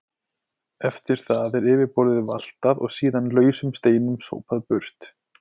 Eftir það er yfirborðið valtað og síðan lausum steinum sópað burt.